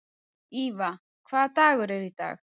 Íva, hvaða dagur er í dag?